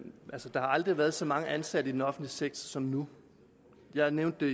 der har aldrig været så mange ansatte i den offentlige sektor som nu jeg nævnte